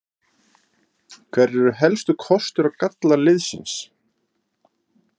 Hverjir eru helstu kostir og gallar liðsins?